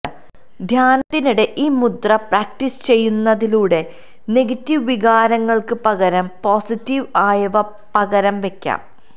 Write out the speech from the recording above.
ധ്യാനത്തിനിടെ ഈ മുദ്ര പ്രാക്ടീസ് ചെയ്യുന്നതിലൂടെ നെഗറ്റീവ് വികാരങ്ങൾക്ക് പകരം പോസിറ്റീവ് ആയവ പകരം വയ്ക്കും